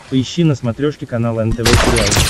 поищи на смотрешке канал нтв сериал